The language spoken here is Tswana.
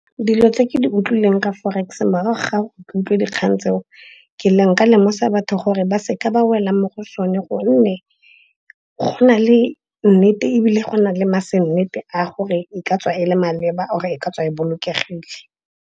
Dilo tse ke di utlwileng ka forex morago ga go utlwe dikgang tseo, nka lemosa batho gore ba seka ba wela mo go sone gonne go na le nnete ebile go na le ma se nnete a gore e ka tswa e le maleba or-e e ka tswa e bolokegile.